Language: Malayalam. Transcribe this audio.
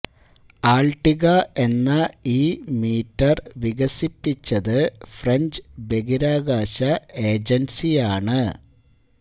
ആള്ട്ടിക എന്ന ഈ മീറ്റര് വികസിപ്പിച്ചത് ഫ്രഞ്ച് ബഹിരാകാശ ഏജന്സിയാണ്